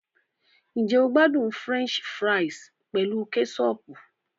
Ǹjẹ́ o n gbádùn French fries pẹ̀lú kẹ́sọọ̀pù